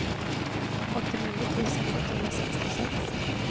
åttionio tusen etthundrasextiosex